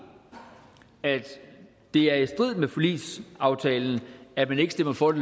at det er i strid med forligsaftalen at man ikke stemmer for